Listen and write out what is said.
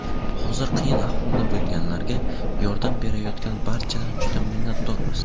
Hozir qiyin ahvolda bo‘lganlarga yordam berayotgan barchadan juda minnatdormiz.